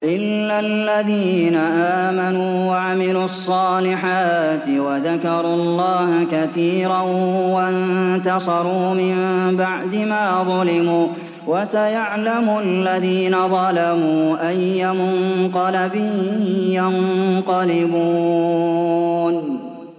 إِلَّا الَّذِينَ آمَنُوا وَعَمِلُوا الصَّالِحَاتِ وَذَكَرُوا اللَّهَ كَثِيرًا وَانتَصَرُوا مِن بَعْدِ مَا ظُلِمُوا ۗ وَسَيَعْلَمُ الَّذِينَ ظَلَمُوا أَيَّ مُنقَلَبٍ يَنقَلِبُونَ